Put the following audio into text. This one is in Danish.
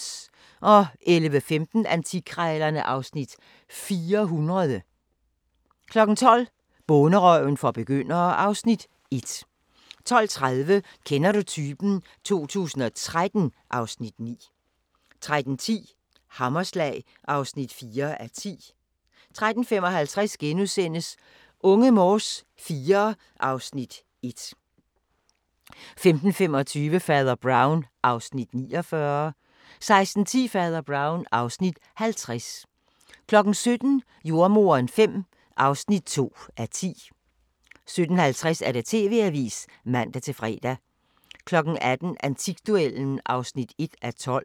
11:15: Antikkrejlerne (Afs. 400) 12:00: Bonderøven for begyndere (Afs. 1) 12:30: Kender du typen? 2013 (Afs. 9) 13:10: Hammerslag (4:10) 13:55: Unge Morse IV (Afs. 1)* 15:25: Fader Brown (Afs. 49) 16:10: Fader Brown (Afs. 50) 17:00: Jordemoderen V (2:10) 17:50: TV-avisen (man-fre) 18:00: Antikduellen (1:12)